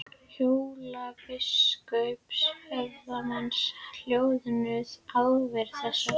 Hólabiskups og höfuðsmanns hjöðnuðu ávirðingar þessar.